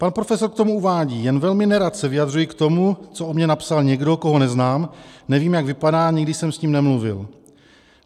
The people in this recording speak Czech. Pan profesor k tomu uvádí: Jen velmi nerad se vyjadřuji k tomu, co o mně napsal někdo, koho neznám, nevím, jak vypadá, nikdy jsem s ním nemluvil.